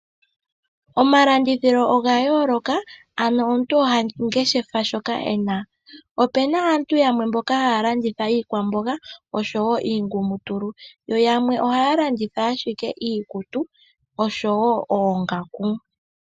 Omalandithilo oga yooloka, ano omuntu oha ngeshefa shoka e na. Ope na aantu yamwe mboka haya landitha iikwamboga osho woo iingumutulu, yo yamwe ohaya longitha ashike iikutu osho woo oongaku.